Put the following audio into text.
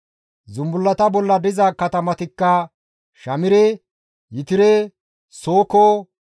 Zumbullata bolla diza katamatikka Shamire, Yetire, Sooko,